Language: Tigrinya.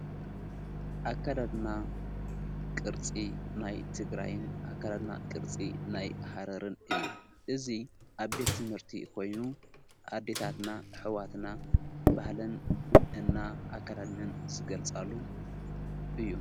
ኣካዳድና ቕርፂ ናይ ትግራይን ኣካዳድና ቅርፂ ናይ ሃረርን እዩ እዙይ ኣቤት ትምህርቲ ኾይኑ ኣዲታትና ሕዋትና ባህለን እና ኣካዳድንን ዝገልጻሉ እዩ።